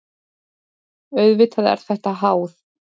Auðvitað er þetta háð.